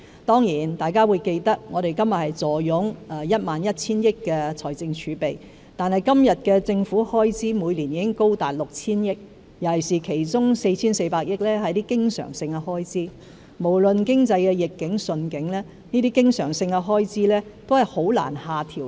當然，大家會記得，我們坐擁 11,000 億元的財政儲備，但現時政府開支每年高達 6,000 億元，其中 4,400 億元是經常性開支，無論經濟逆境或順境，這些經常性開支都難以下調。